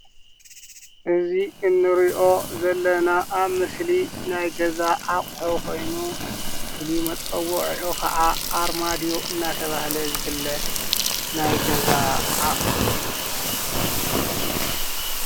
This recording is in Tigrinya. እዚ እንርእዮ ዘለና ኣብ ምስሊ ናይ ገዛ ኣቑሑ ኾይኑ ፍሉይ መፀውዒዑ ከዓ ኣርማድዬ እናተበሃለ ዝፍለጥ ናይ ገዛ ኣቑሑ እዩ ።